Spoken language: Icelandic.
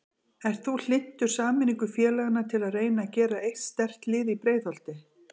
Ert þú hlynntur sameiningu félagana til að reyna að gera eitt sterkt lið í Breiðholti?